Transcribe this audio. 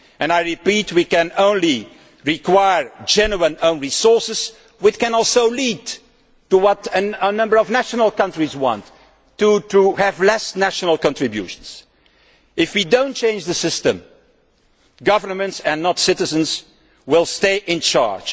I repeat we can only require genuine own resources which can also lead to what a number of countries want, which is to have less national contributions. If we do not change the system, governments and not citizens will stay in charge.